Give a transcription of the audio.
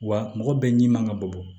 Wa mɔgɔ bɛɛ ɲimin man ka bɔ